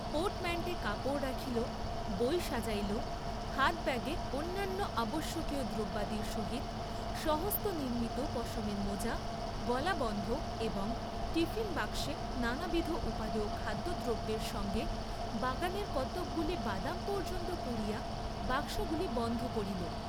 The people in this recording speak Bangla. পোর্টম্যাণ্টে কাপড় রাখিল, বই সাজাইল; হাতব্যাগে অন্যান্য আবশ্যকীয় দ্রব্যাদির সহিত স্বহস্তনির্ম্মিত পশমের মোজা গলাবন্ধ এবং টিফিন বাক্সে নানাবিধ উপাদেয় খাদ্য দ্রব্যের সঙ্গে বাগানের কতকগুলি বাদাম পর্য্যন্ত পূরিয়া বাক্সগুলি বন্ধ করিল।